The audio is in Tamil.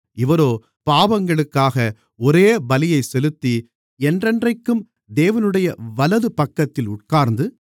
இவரோ பாவங்களுக்காக ஒரே பலியைச் செலுத்தி என்றென்றைக்கும் தேவனுடைய வலதுபக்கத்தில் உட்கார்ந்து